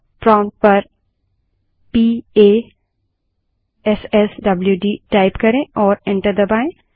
prompt पर p a s s w d type करें और एंटर दबायें